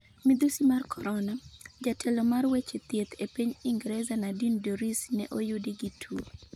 Midhusi mar Korona: Jatelo mar weche thieth e piny Ingresa Nadine Dorries ne oyudi gi tuo